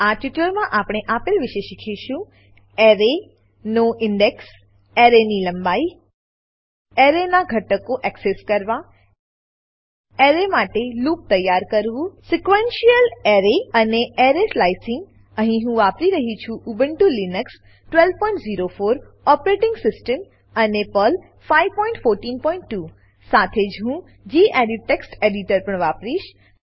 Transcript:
આ ટ્યુટોરીયલમાં આપણે આપેલ વિશે શીખીશું અરે એરે નો ઇન્ડેક્સ ઇન્ડેક્સ અરે એરે ની લંબાઈ અરે એરે નાં ઘટકો એક્સેસ કરવા અરે એરે માટે લૂપ તૈયાર કરવું સિક્વેન્શિયલ અરે સીક્વેંશિયલ એરે અને અરે સ્લાઇસિંગ એરે સ્લાયસિંગ અહીં હું વાપરી રહ્યી છું ઉબુન્ટુ લીનક્સ 1204 ઓપરેટીંગ સીસ્ટમ અને પર્લ 5142 સાથે જ હું ગેડિટ ટેક્સ્ટ એડિટર પણ વાપરીશ